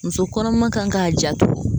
Muso kɔnɔma kan k'a janto